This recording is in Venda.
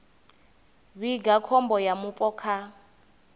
vhiga khombo ya vhupo kha